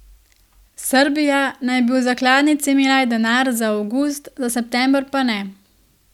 Srbija naj bi v zakladnici imela denar za avgust, za september pa ne.